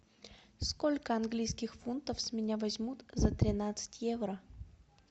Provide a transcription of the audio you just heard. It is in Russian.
сколько английских фунтов с меня возьмут за тринадцать евро